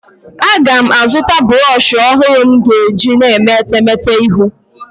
Aga m azụta brọshị ọhụrụ nke m ga-eji na-eme etemete iru.